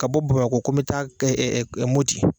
Ka bɔ bamakɔ ko n be taa ɛ ɛ moti